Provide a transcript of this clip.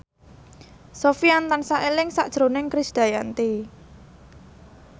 Sofyan tansah eling sakjroning Krisdayanti